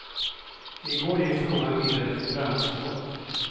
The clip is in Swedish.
I går gick frågan vidare till branschfolk.